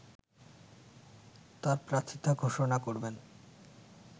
তার প্রার্থিতা ঘোষণা করবেন